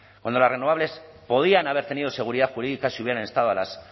cuando las renovables podían haber tenido seguridad jurídica si hubieran estado a la